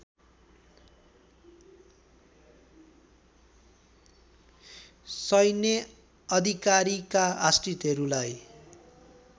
सैन्य अधिकारीका आश्रितहरूलाई